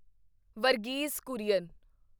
Verghese Kurian